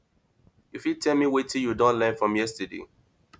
you fit tell me wetin you don learn from yesterday